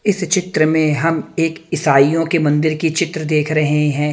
इस चित्र में हम एक इसाइओ की मंदिर की चित्र देख रहे है।